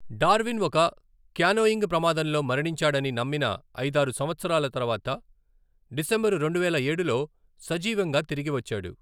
Darwin ఒక canoeing ప్రమాదంలో మరణించాడని నమ్మిన ఐదారు సంవత్సరాల తరువాత, డిసెంబరు రెండువేల ఏడులో సజీవంగా తిరిగి వచ్చాడు.